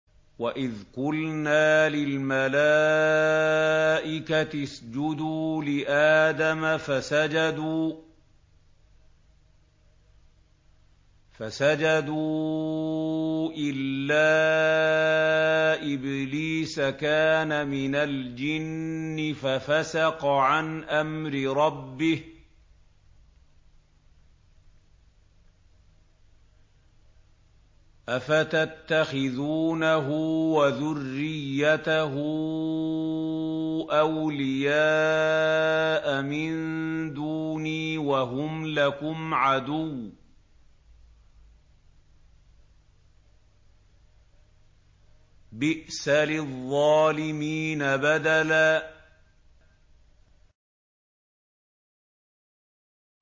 وَإِذْ قُلْنَا لِلْمَلَائِكَةِ اسْجُدُوا لِآدَمَ فَسَجَدُوا إِلَّا إِبْلِيسَ كَانَ مِنَ الْجِنِّ فَفَسَقَ عَنْ أَمْرِ رَبِّهِ ۗ أَفَتَتَّخِذُونَهُ وَذُرِّيَّتَهُ أَوْلِيَاءَ مِن دُونِي وَهُمْ لَكُمْ عَدُوٌّ ۚ بِئْسَ لِلظَّالِمِينَ بَدَلًا